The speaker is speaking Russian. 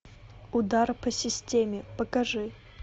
удар по системе покажи